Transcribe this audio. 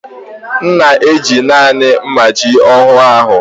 M na-eji naanị mmachi ụnyaahụ.